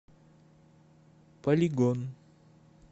полигон